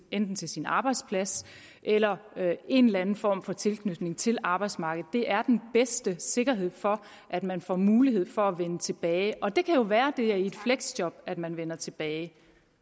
enten til sin arbejdsplads eller en eller anden form for tilknytning til arbejdsmarkedet det er den bedste sikkerhed for at man får mulighed for at vende tilbage og det kan jo være det er i et fleksjob at man vender tilbage